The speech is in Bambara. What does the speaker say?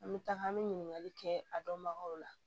An bɛ taga an bɛ ɲininkali kɛ a dɔnbagaw la